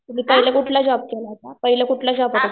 तुम्ही पहिले कुठला जॉब केला होता पहिले